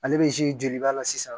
Ale bɛ joli ba la sisan